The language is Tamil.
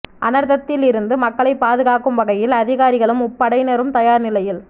அனர்த்தத்தில் இருந்து மக்களை பாதுகாக்கும் வகையில் அதிகாரிகளும் முப்படையினரும் தயார் நிலையில்